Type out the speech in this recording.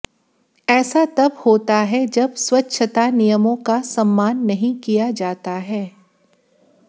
ऐसा तब होता है जब स्वच्छता नियमों का सम्मान नहीं किया जाता है